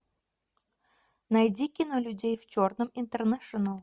найди кино людей в черном интернэшнл